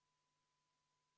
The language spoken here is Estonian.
Mul naistele etteheiteid ei olnud.